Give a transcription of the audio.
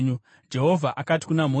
Jehovha akati kuna Mozisi,